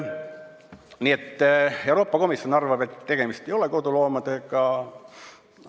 Nii et Euroopa Komisjon arvab, et tegemist ei ole koduloomadega.